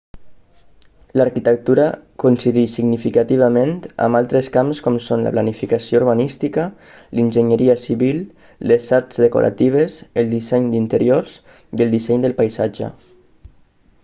l'arquitectura coincideix significativament amb altres camps com són la planificació urbanística l'enginyeria civil les arts decoratives el disseny d'interiors i el disseny del paisatge